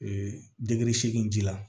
Ee segin ji la